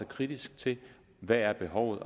kritisk til hvad behovet